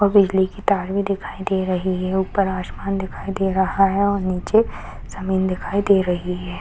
और बिजली की तार भी दिखाई दे रही है ऊपर आसमान दिखाई दे रही है नीचे जमींन दिखाई दे रही है।